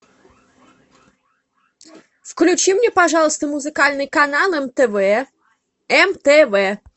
включи мне пожалуйста музыкальный канал мтв мтв